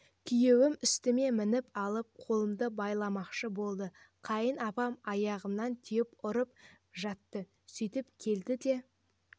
күйеуім үстіме мініп алып қолымды байламақшы болды қайын апам аяғымнан теуіп ұрып жатты сөйтіп келді де